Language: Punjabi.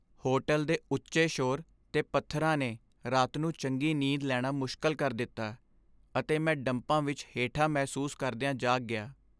ਹੋਟਲ ਦੇ ਉੱਚੇ ਸ਼ੋਰ ਦੇ ਪੱਧਰਾਂ ਨੇ ਰਾਤ ਨੂੰ ਚੰਗੀ ਨੀਂਦ ਲੈਣਾ ਮੁਸ਼ਕਲ ਕਰ ਦਿੱਤਾ, ਅਤੇ ਮੈਂ ਡੰਪਾਂ ਵਿੱਚ ਹੇਠਾਂ ਮਹਿਸੂਸ ਕਰਦਿਆਂ ਜਾਗ ਗਿਆ।